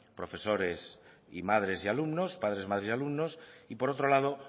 profesores y madres y alumnos padres madres y alumnos y por otro lado